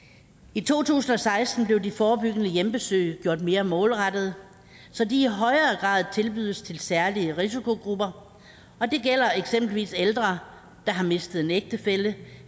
i to tusind og seksten blev de forebyggende hjemmebesøg gjort mere målrettede så de i højere grad tilbydes til særlige risikogrupper og det gælder eksempelvis ældre der har mistet en ægtefælle